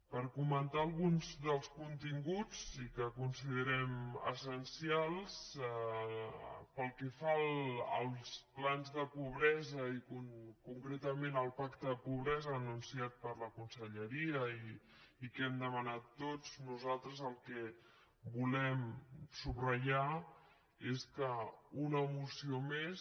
per comentar alguns dels continguts que considerem essencials pel que fa als plans de pobresa i concretament el pacte contra la pobresa anunciat per la conselleria i que hem demanat tots nosaltres el que volem subratllar és que una moció més